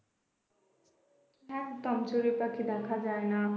একদম চড়ুই পাখি দেখা যায় না